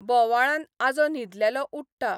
बोवाळान आजो न्हिदेंतलो उठटा.